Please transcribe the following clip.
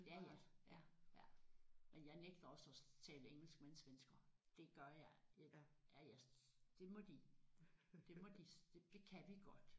Ja ja ja ja men jeg nægter også at tale engelsk med en svensker det gør jeg ja ja jeg det må de det må de det kan vi godt